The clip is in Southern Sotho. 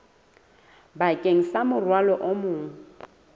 bakeng sa morwalo o mong